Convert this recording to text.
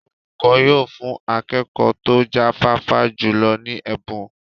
Olùkọ́ yóò fún akẹ́kọ̀ọ́ tó jáfáfá jùlọ ní ẹ̀bùn.